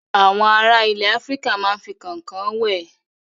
Àwọn ará ilẹ̀ Áfíríkà máa ń fi kànkàn wẹ̀.